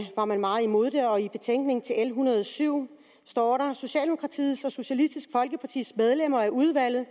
var man meget imod det og i betænkningen til l en hundrede og syv står der socialdemokratiets og socialistisk folkepartis medlemmer af udvalget